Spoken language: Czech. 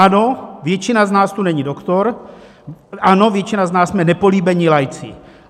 Ano, většina z nás tu není doktor, ano, většina z nás jsme nepolíbení laici.